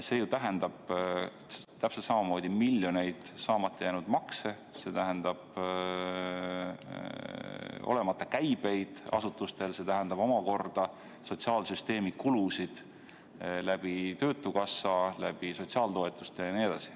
See tähendab täpselt samamoodi miljonite eurode eest saamata jäänud makse, see tähendab olematuid käibeid asutustel, see tähendab omakorda sotsiaalsüsteemi kulusid läbi töötukassa, läbi sotsiaaltoetuste jne.